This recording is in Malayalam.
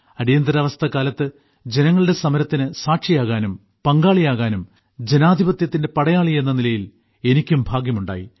അടിയന്തരാവസ്ഥക്കാലത്ത് ജനങ്ങളുടെ സമരത്തിന് സാക്ഷിയാകാനും പങ്കാളിയാകാനും ജനാധിപത്യത്തിന്റെ പടയാളി എന്ന നിലയിൽ എനിക്കും ഭാഗ്യമുണ്ടായി